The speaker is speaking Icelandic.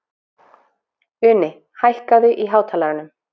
Uni, hækkaðu í hátalaranum.